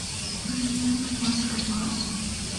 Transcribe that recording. замена масла ваз